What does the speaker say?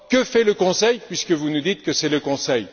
Que fait le Conseil, puisque vous nous dites que c'est le Conseil?